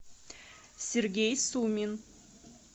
сергей сумин